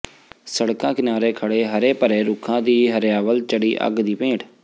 ਸੜਕਾਂ ਕਿਨਾਰੇ ਖੜੇ ਹਰੇ ਭਰੇ ਰੁੱਖਾਂ ਦੀ ਹਰਿਆਵਲ ਚੜੀ ਅੱਗ ਦੀ ਭੇਟ